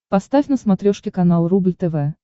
поставь на смотрешке канал рубль тв